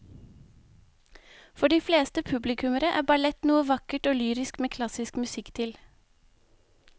For de fleste publikummere er ballett noe vakkert og lyrisk med klassisk musikk til.